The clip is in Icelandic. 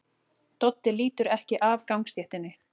Doddi lítur ekki af gangstéttinni.